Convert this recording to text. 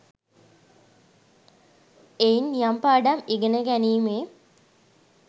එයින් යම් පාඩම් ඉගෙන ගැනීමේ